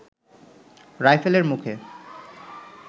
রাইফেলের মুখে